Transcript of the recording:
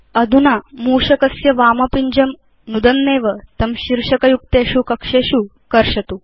अधुना मूषकस्य वामपिञ्जं नुदन्नेव तं शीर्षक युक्तेषु कक्षेषु कर्षतु